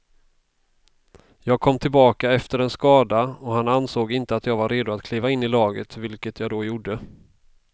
Jag kom tillbaka efter en skada och han ansåg inte att jag var redo att kliva in i laget, vilket jag då gjorde.